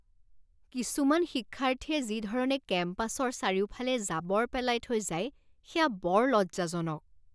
কিছুমান শিক্ষাৰ্থীয়ে যি ধৰণে কেম্পাছৰ চাৰিওফালে জাবৰ পেলাই থৈ যায় সেয়া বৰ লজ্জাজনক।